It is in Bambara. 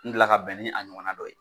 N deli ka bɛn ni a ɲɔgɔnna dɔ ye